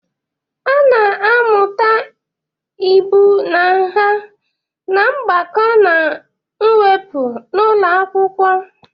A na-amụta ibu na nha na mgbakọ na mwepụ n'ụlọ akwụkwọ.